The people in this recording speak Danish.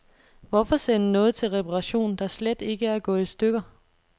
Hvorfor sende noget til reparation, der slet ikke er gået i stykker.